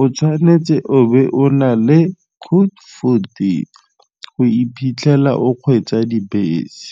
o tshwanetse o be o na le code fourteen go o iphitlhela o kgweetsa dibese.